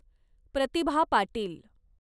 Pratibha Patil